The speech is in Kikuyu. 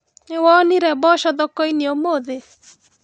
Nĩwonire mboco thokoinĩ ũmũthĩ?